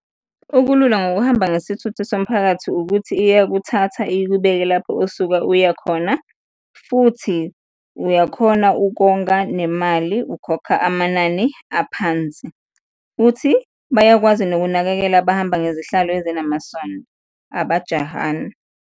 Okulula ngokuhamba ngesithuthuthi somphakathi ukuthi iya kuthatha ikubeke lapho osuka uya khona futhi uyakhona ukonga nemali, ukhokha amanani aphansi futhi bayakwazi nokunakekela abahamba ngezihlalo ezinamasondo, abajahani.